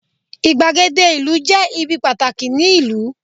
igbagede ìlú je ibi pàtàkì ni ìlú